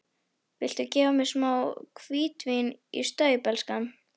Viltu gefa mér smá hvítvín í staup, elskan?